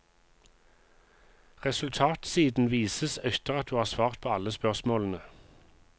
Resultatsiden vises etter at du har svart på alle spørsmålene.